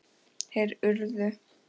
Þeir urðu!